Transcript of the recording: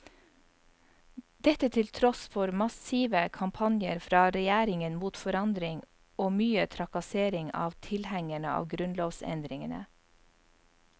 Dette til tross for massive kampanjer fra regjeringen mot forandring og mye trakassering av tilhengerne av grunnlovsendringene.